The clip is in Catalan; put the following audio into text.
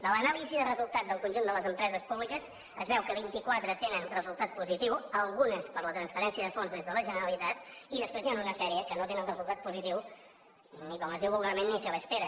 de l’anàlisi del resultat del conjunt de les empreses públiques es veu que vintiquatre tenen resultat positiu algunes per la transferència de fons des de la generalitat i després n’hi han una sèrie que no tenen resultat positiu ni com es diu vulgarment ni se le espera